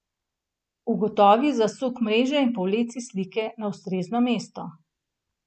Ugotovi zasuk mreže in povleci slike na ustrezno mesto.